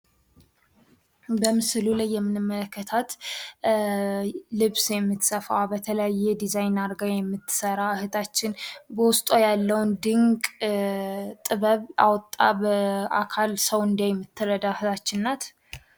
በምስሉ ላይ የምንመለከታት ልብስ የምትሰፋ በተለያዩ ድዛይን አድርጋ የምትሰራ እህታችን በውስጧ ያለውን ድንቅ ጥበብ አውጥታ በአካል ሰው እንዳይ የምትረዳ እህታችን ናት።